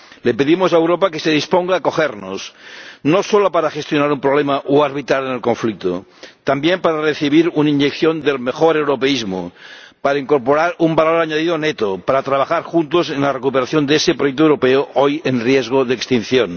Le pedimos a Europa que se disponga a acogernos, no solo para gestionar un problema o arbitrar en el conflicto, también para recibir una inyección del mejor europeísmo, para incorporar un valor añadido neto, para trabajar juntos en la recuperación de ese proyecto europeo, hoy en riesgo de extinción.